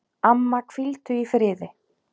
Amma, hvíldu í friði.